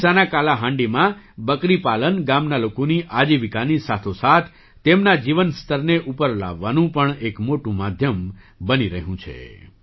ઓડિશાના કાલાહાંડીમાં બકરી પાલન ગામના લોકોની આજીવિકાની સાથોસાથ તેમના જીવન સ્તરને ઉપર લાવવાનું પણ એક મોટું માધ્યમ બની રહ્યું છે